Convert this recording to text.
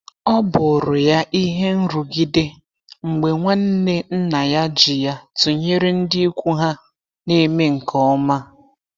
ọbụrụ ya ihe nrugide mgbe nwanne nna ya ji ya tụnyere ndị ikwu ha na-eme nke ọma.